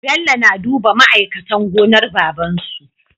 Bello na duba ma aikatan gonar babansu